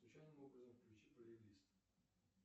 случайным образом включи плейлист